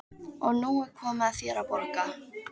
Og nú er komið að þér að borga.